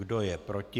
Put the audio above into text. Kdo je proti?